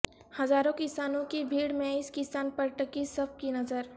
ہزاروں کسانوں کی بھیڑ میں اس کسان پر ٹکی سب کی نظر